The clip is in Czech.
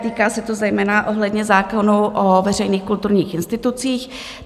Týká se to zejména ohledně zákonů o veřejných kulturních institucích.